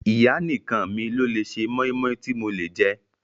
Ìyá nìkan mi lò lé ṣe mọ́ímọ́í tí mo lè jẹ́.